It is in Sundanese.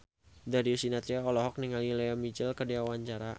Darius Sinathrya olohok ningali Lea Michele keur diwawancara